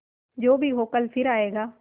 जो भी हो कल फिर आएगा